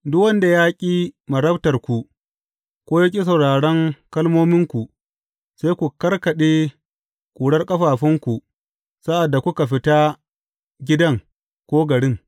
Duk wanda ya ƙi marabtarku ko ya ƙi sauraron kalmominku, sai ku karkaɗe ƙurar ƙafafunku sa’ad da kuka fita gidan ko garin.